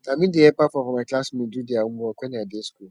na me dey help half of my class mates do their homework wen i dey school